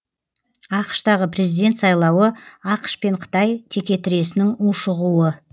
ақш тағы президент сайлауы ақш пен қытай текетіресінің ушығуы